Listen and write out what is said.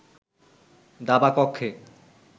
দাবা কক্ষে